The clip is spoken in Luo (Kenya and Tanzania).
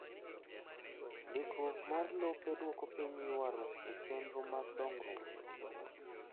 Ndikruok mar lope dwoko piny ywarruok e chenro mag dongruok.